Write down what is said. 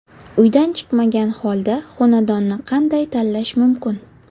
Uydan chiqmagan holda xonadonni qanday tanlash mumkin.